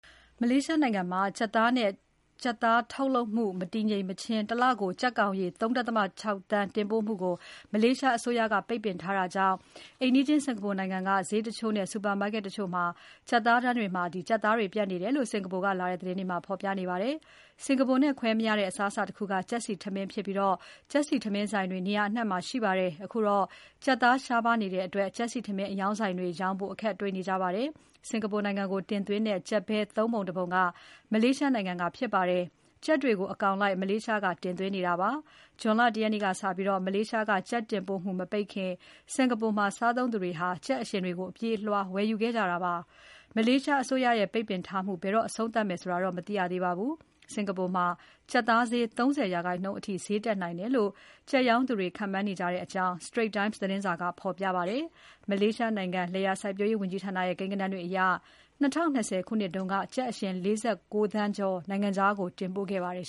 မလေးရှားနိုင်ငံမှာ ကြက်သားဈေးနဲ့ ကြက်သား ထုတ်လုပ်မှု မတည်ငြိမ်မချင်း တလကို ကြက်ကောင်ရေ ၃.၆ သန်းတင်ပို့မှုကို မလေးရှားအစိုးရက ပိတ်ပင်ထားတာကြောင့် အိမ်နီးချင်း စင်္ကာပူနိုင်ငံက ဈေးတချို့နဲ့ ဆူပါမားကက်တချို့က ကြက်သားတန်းတွေမှာ ကြက်သားတွေ ပြတ်နေတယ်လို့ စင်္ကာပူကလာတဲ့သတင်းတွေက ဖော်ပြနေကြပါတယ်။ စင်္ကာပူနဲ့ ခွဲမရတဲ့ အစားအစာတခုက ကြက်ဆီထမင်းဖြစ်ပြီး ကြက်ဆီထမင်းဆိုင်တွေ နေရာအနှံ့မှာ ရှိပါတယ်။ အခုတော့ ကြက်သားရှားပါးနေတဲ့အတွက် ကြက်ဆီထမင်းအရောင်းဆိုင်တွေ ရောင်းဖို့ အခက်တွေ့နေကြပါတယ်။ စင်္ကာပူနိုင်ငံကိုတင်သွင်းတဲ့ ကြက် ဘဲ ၃ ပုံ ၁ ပုံက မလေးရှားနိုင်ငံက ဖြစ်ပါတယ်။ ကြက်တွေကို အကောင်လိုက်မလေးရှားက တင်သွင်းနေတာပါ။ ဇွန်လ ၁ ရက်နေ့ကစပြီး မလေးရှားက ကြက်တင်ပို့မှု မပိတ်ခင်က စင်္ကာပူမှာ စားသုံးသူတွေက ကြက်အရှင်တွေကို အပြေးအလွှား ဝယ်ယူခဲ့ကြတာပါ။ မလးရှားအစိုးရရဲ့ ပိတ်ပင်ထားမှု ဘယ်တော့ အဆုံးသတ်မယ်ဆိုတာတော့ မသိရသေးပါဘူး။ စင်္ကာပူမှာ ကြက်သားဈေး ၃၀% အထိဈေးတက်နိုင်တယ်လို့ ကြက်ရောင်းသူတွေ ခန့်မှန်းနေကြတဲ့အကြောင်း Singapore Straits Times သတင်းစာက ဖော်ပြပါတယ်။ မလေးရှားနိုင်ငံ လယ်ယာစိုက်ပျိုးရေးဝန်ကြီးဌာနရဲ့ ကိန်းဂဏန်းတွေအရ ၂၀၂၀ ခုနှစ်က ကြက်အရှင် ၄၉ သန်းကျော် နိုင်ငံခြားကို တင်ပို့ခဲ့ပါတယ်